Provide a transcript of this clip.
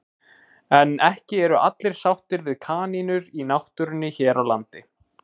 En ekki eru allir sáttir við kanínur í náttúrunni hér á landi.